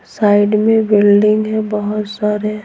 Side में building है बहुत सारे।